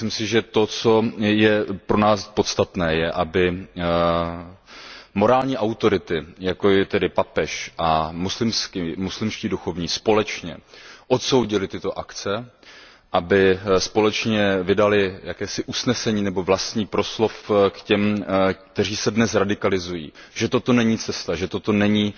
Myslím si, že to, co je pro nás podstatné, je, aby morální autority, jako je papež a muslimští duchovní, společně odsoudili tyto akce, aby společně vydali jakési usnesení nebo pronesli vlastní proslov k těm, kteří se dnes radikalizují, že toto není cesta, že toto není